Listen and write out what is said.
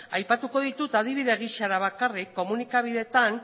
aipatuko ditut adibide gisa da bakarrik komunikabideetan